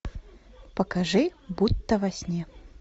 покажи будто во сне